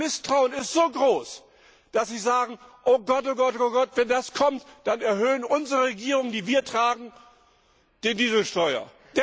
Das Misstrauen ist so groß, dass sie sagen Wenn das kommt, dann erhöhen unsere Regierungen, die wir tragen, die Dieselsteuer.